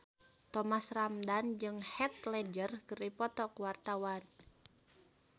Thomas Ramdhan jeung Heath Ledger keur dipoto ku wartawan